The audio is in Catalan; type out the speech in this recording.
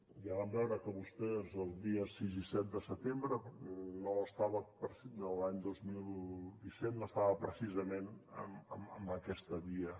ja vam veure que vostès els dies sis i set de setembre de l’any dos mil disset no estaven precisament en aquesta via